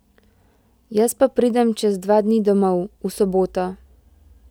Jaz pa pridem čez dva dni domov, v soboto!